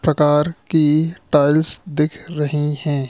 प्रकार की टाइल्स दिख रही है।